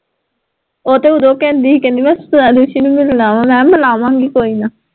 ਓ ਤਾਂ ਓਦੋਂ ਕਹਿੰਦੀ ਹੀ, ਕਹਿੰਦੀ ਮੈਂ ਸ੍ਵੈਦੁਸ਼ੀ ਨੂੰ ਮਿਲਣਾ, ਮਹਾਂ ਮਿਲਾਵਾਂਗੀ ਕੋਈ ਨਾ